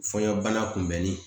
Fɔɲɔ bana kunbɛnni